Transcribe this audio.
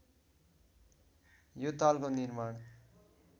यो तालको निर्माण